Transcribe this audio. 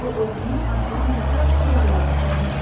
O oğluna arxadan baxaraq dodaqlarını çeynəyirdi.